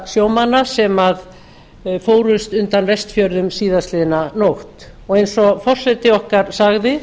sjómanna sem fórust undan vestfjörðum síðastliðnu nótt eins og forseti okkar sagði